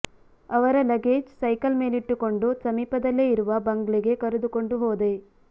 ಅವರ luggage cycle ಮೇಲಿಟ್ಟುಕೊಂಡು ಸಮೀಪದಲ್ಲೇ ಇರುವ ಬಂಗ್ಲೆಗೆ ಕರೆದುಕೊಂಡು ಹೋದೆ